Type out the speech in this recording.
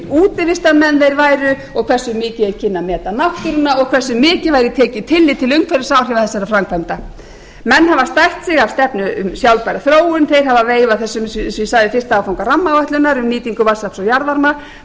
hversu mikið þeir kynnu að meta náttúruna og hversu mikið tillit væri tekið til umhverfisáhrifa þessara framkvæmda menn hafa stært sig af stefnu um sjálfbæra þróun þeir hafa veifað þessu eins og ég sagði um fyrsta áfanga rammaáætlunar um nýtingu vatnsafls og jarðvarma